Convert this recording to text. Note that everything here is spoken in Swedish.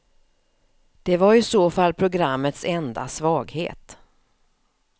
Det var i så fall programmets enda svaghet.